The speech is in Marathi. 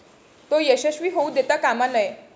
तो यशस्वी होऊ देता कामा नये.